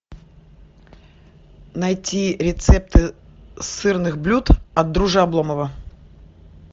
найти рецепты сырных блюд от друже обломова